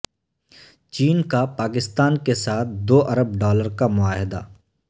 چین کا پاکستان کے ساتھ دو ارب ڈالر کا معاہدہ